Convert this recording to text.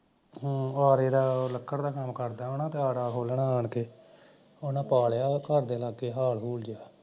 ਹਮ ਆਰੇ ਦਾ ਲਕੜ ਦਾ ਕੰਮ ਕਰਦਾ ਹੋਣਾ ਤੇ ਆਰਾਂ ਖੋਲਣਾ ਆਣ ਕੇ ਓਹਨਾਂ ਪਾ ਲਿਆ ਘਰ ਦੇ ਲਾਗੇ ਹਾਲ ਹੁੱਲ ਜਿਹਾ